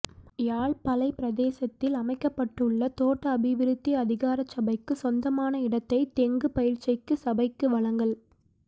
யாழ் பளை பிரதேசத்தில் அமைக்கப்பட்டுள்ள தோட்ட அபிவிருத்தி அதிகாரச்சபைக்கு சொந்தமான இடத்தை தெங்கு பயிர்செய்கை சபைக்கு வழங்கல்